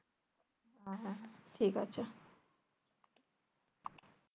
ঠিক আছে।